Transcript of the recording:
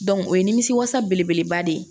o ye nimisi wasa belebeleba de ye